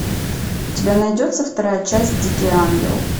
у тебя найдется вторая часть дикий ангел